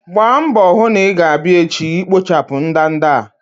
Gbaa mbọ hụ na i-ga abia echi ikpochapụ ndanda a!